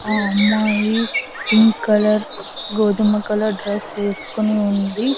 ఆ అమ్మాయి pink colour గోధుమ కలర్ డ్రెస్ వేసుకుని ఉంది.